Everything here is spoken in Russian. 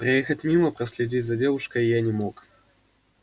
проехать мимо проследить за девушкой я не мог